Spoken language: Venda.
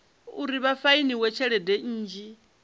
uri vha fainiwe tshelede nnzhi